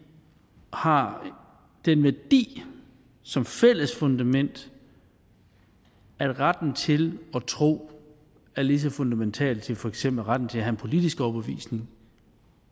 har den værdi som fælles fundament at retten til at tro er lige så fundamental som for eksempel retten til at have en politisk overbevisning